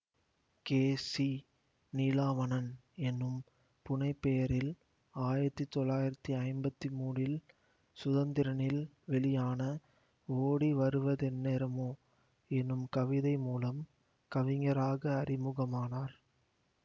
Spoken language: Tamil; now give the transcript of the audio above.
கே சி நீலாவணன் எனும் புனைபெயரில் ஆயிரத்தி தொள்ளாயிரத்தி ஐம்பத்தி மூனில் சுதந்திரனில் வெளியான ஓடி வருவதென்னேரமோ எனும் கவிதை மூலம் கவிஞராக அறிமுகம் ஆனார்